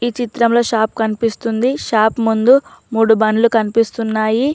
ఈ చిత్రం లో షాప్ కన్పిపిస్తుంది షాప్ ముందు మూడు బండ్లు కన్పిపిస్తున్నాయి.